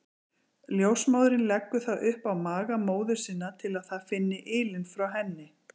Ljósmóðirin leggur það upp á maga móður sinnar til að það finni ylinn frá henni.